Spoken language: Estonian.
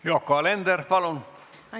Yoko Alender, palun!